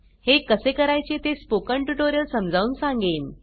हे कसे करायचे ते स्पोकन ट्युटोरियल समजावून सांगेन